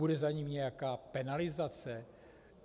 Bude za ním nějaká penalizace?